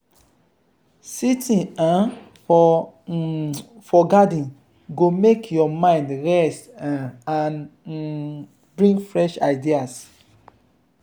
sitting um for um for garden go make your mind rest um and um bring fresh ideas.